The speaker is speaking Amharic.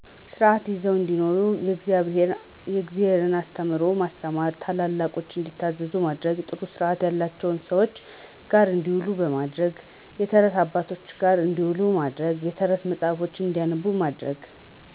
ስርዓት ይዘው እንዲኖሩ የእግዘብሔርን አስተምህሮ ማስተማር፣ ታላላቆች እንዲታዘዙ ማድረግ፣ ጥሩ ስርዐት ያለቸው ሰዎች ጋር እንዲውሉ በማድረግ። የተረት አባቶች ጋር እንዲውሉ ማድረግ፣ የተረት መጽሐፍ እንዲያነቡ ማድረግ